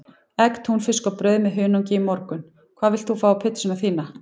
Egg, túnfisk og brauð með hunangi í morgun Hvað vilt þú fá á pizzuna þína?